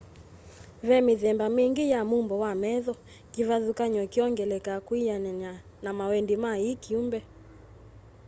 ve mithemba mingi ya mumbo wa metho kivathukany'o kiyongeleka kwianana na mawendi ma i kyumbe